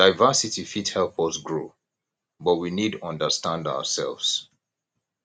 diversity fit help us grow but we need understand ourselves